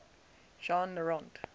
jean le rond